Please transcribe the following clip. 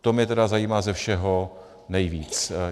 To mě tedy zajímá ze všeho nejvíc.